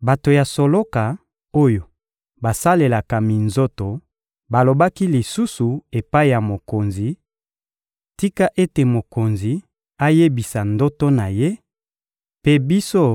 Bato ya soloka, oyo basalelaka minzoto balobaki lisusu epai ya mokonzi: — Tika ete mokonzi ayebisa ndoto na ye, mpe biso,